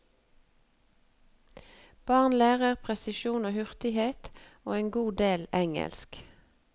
Barn lærer presisjon og hurtighet, og en god del engelsk.